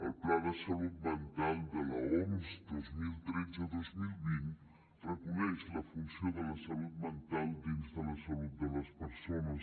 el pla de salut mental de l’oms dos mil tretze dos mil vint reconeix la funció de la salut mental dins de la salut de les persones